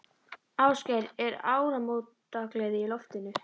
Ásgeir, er áramótagleði í loftinu?